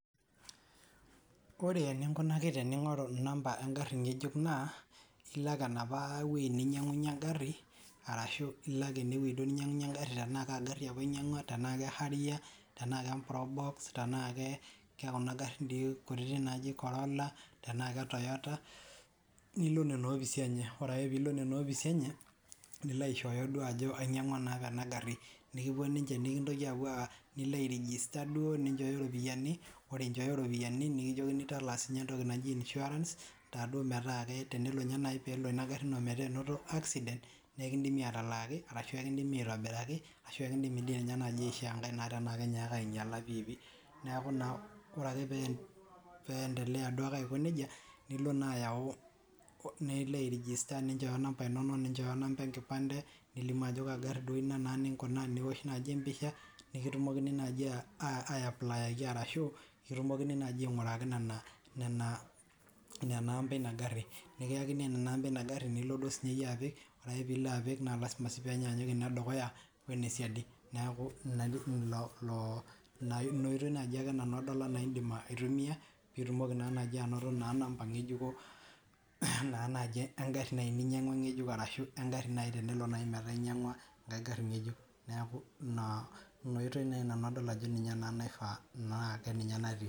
Ore eninkunaki tening'oru namba egari ngejuk naa ilo ake enapa wueji ninyiang'unye egari, arasu ilo ake ene wueji duo ninyiang'unye egari etnaa egari apa inyiang'ua tenaa ke harrier, tenaa ke probox tenaa kekuna garin dii kutiitik naaji corolla, tenaa ke toyota, nilo nena opisi enye. ore ake pee ilo nena opisi enye, nilo aishooyo ajo ainyiang'ua naduo apa ena gari, nikipuo ninche nikintoki apuo aa nilo ai register duo ninchooyo ropiyiani. ore inchooyo ropiyiani, nikijokini talaa sii ninche entoki naji insurance taduo metaa tenelo ninye ina gari ino metaa enoto accident naa ekidimi atalaaki, arasu ekidimi aitobiraki. ashu ekidimi dii ninye naaji aishoo enkae tenaa kenyaaka aing'iala piipi. neeku naa ore ake pee ndelea duo ake aiko nejia, nilo naa ayaua, nilo ai register. nichooyo inamba inono, ninchooyo namba enkipande. nilimu ajo kaagari inaduo ninkuna, niosh naaji empisha, nikitumokini naaji ayaplayaki arashu, kitumokini naaji aing'uraki nena, nena amba eina gari. nikiyaki nena amba eina gari, nikiyaini nena amba eina gari nilo duo siiyie apik. ore pee ilo apik, naa lasima sii pee enyaanyuk ine dukuya one siadi. neeku ina oitoi naaji ake nanu adol anaa idim aaitumia pee itumoki naa naaji anoto namba ngejuko. naa naji egari naaji ninyang'ua ngejuk arashu, egari naaji tenelo naaji metaa inyiang'ua egari ngejuk, neeku ina oitoi naaji nanu adol ajo ninye naa naifaa naa ninye naa natii.